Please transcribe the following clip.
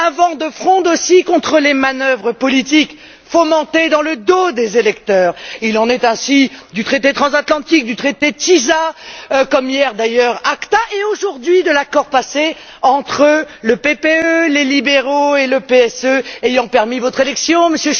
Un vent de fronde aussi contre les manœuvres politiques fomentées dans le dos des électeurs il en est ainsi du traité transatlantique, du traité dit TISA, comme hier d'ailleurs de l'ACAC et aujourd'hui de l'accord passé entre le PPE, les libéraux et le PSE ayant permis votre élection, M.